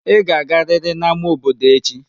Ị ga-agariri n'ámá obodo echi!